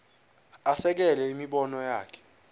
asekele imibono yakhe